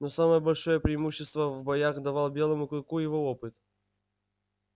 но самое большое преимущество в боях давал белому клыку его опыт